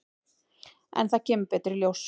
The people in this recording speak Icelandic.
En það kemur betur í ljós.